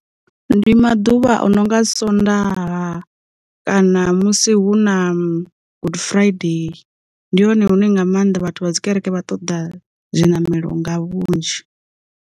Ndi maḓuvha anonga Swondaha, kana musi hu na good friday ndi hone hune nga maanḓa vhathu vha dzi kereke vha ṱoḓa zwiṋamelo nga vhunzhi.